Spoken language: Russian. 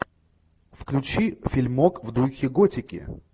включи фильмок в духе готики